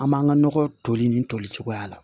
An b'an ka nɔgɔ toli ni toli cogoya la